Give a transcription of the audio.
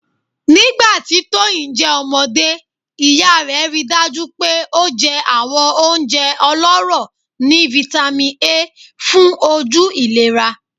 Nigbati Toyin jẹ ọmọde iya rẹ rii daju pe o jẹ awọn ounjẹ ọlọrọ ni Vitamin A fun oju ilera